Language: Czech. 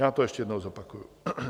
Já to ještě jednou zopakuji.